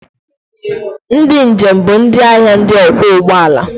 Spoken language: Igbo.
Ndị njem bụ ndị ahịa ndị ọkwọ ụgbọala.